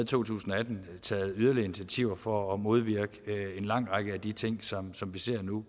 to tusind og atten taget yderligere initiativer for at modvirke en lang række af de ting som som vi ser nu